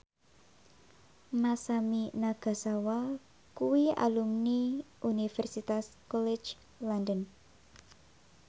Masami Nagasawa kuwi alumni Universitas College London